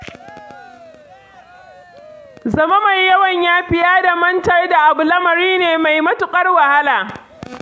Zama mai yawan yafiya da mantar da abu lamari ne mai matuƙar wahala.